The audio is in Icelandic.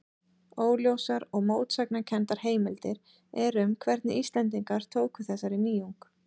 Óljósar og mótsagnakenndar heimildir eru um hvernig Íslendingar tóku þessari nýjung.